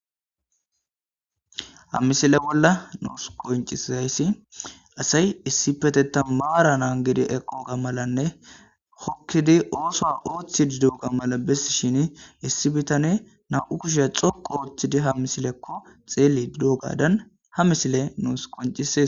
ha misile bolla nuus qoncisizayssi asay issi petetan maara naan gedi eqooga malanne hokkidi ooso ooththi didooga mala bess shin issi bitane na7u kusheya xoqo ooththidi ha misilekko xeeli didogadan ha misile nuus qoncisis